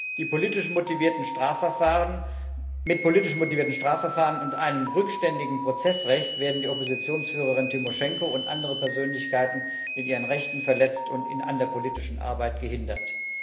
Mit politisch motivierten Strafverfahren und einem rückständigen Prozessrecht werden die Oppositionsführerin Timoschenko und andere Persönlichkeiten in ihren Rechten verletzt und an der politischen Arbeit gehindert.